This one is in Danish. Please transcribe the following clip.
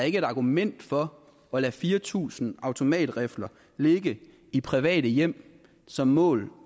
ikke et argument for at lade fire tusind automatrifler ligge i private hjem som mål